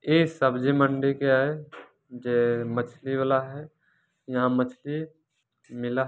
ये सब्जी मंडी का है जे मछली वाला है यहाँ मछली मिला ह---